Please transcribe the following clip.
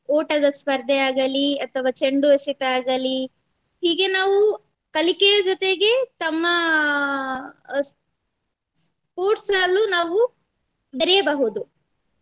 ಓಟದ ಸ್ಪರ್ದೆ ಆಗಲಿ ಅಥವಾ ಚಂಡು ಎಸೆತ ಆಗಲಿ ಹೀಗೆ ನಾವು ಕಲಿಕೆಯ ಜೊತೆಗೆ ತಮ್ಮ sports ಅಲ್ಲೂ ನಾವು ಬೆರೆಯಬಹುದು.